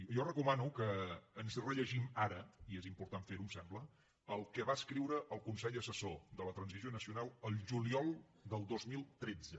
jo recomano que ens rellegim ara i és important fer ho em sembla el que va escriure el consell assessor per a la transició nacional al juliol del dos mil tretze